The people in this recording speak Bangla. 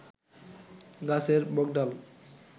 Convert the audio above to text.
গাছের মগডাল